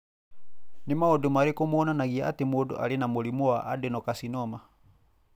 Nĩ maũndũ marĩkũ monanagia atĩ mũndũ arĩ na mũrimũ wa adenocarcinoma?